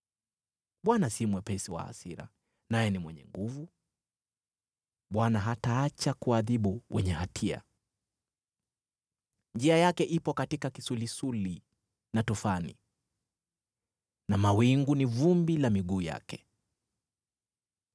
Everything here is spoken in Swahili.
Bwana si mwepesi wa hasira naye ni mwenye nguvu, Bwana hataacha kuadhibu wenye hatia. Njia yake ipo katika kisulisuli na tufani, na mawingu ni vumbi la miguu yake.